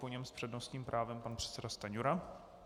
Po něm s přednostním právem pan předseda Stanjura.